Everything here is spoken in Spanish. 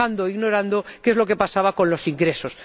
ido dejando e ignorando qué es lo que pasaba con los ingresos.